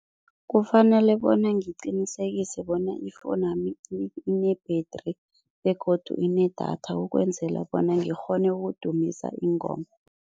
Kufanele bona ngiqinisekise bona ifowunami ine-battery begodu inedatha ukwenzela bona ngikghone udumisa iingoma.